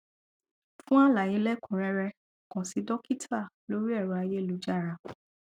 fún àlàyé lẹkùnun rẹrẹ kàn sí dọkítà lórí ẹrọ ayélujára